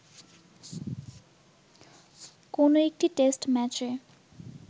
কোন একটি টেস্ট ম্যাচে